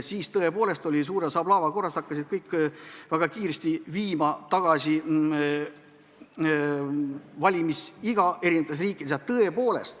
Siis tõepoolest hakkasid kõik riigid aplaava korras valimisiga alandama.